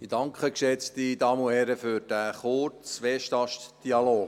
Ich danke für den kurzen WestastDialog.